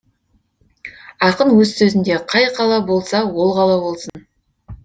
ақын өз сөзінде қай қала болса ол қала болсын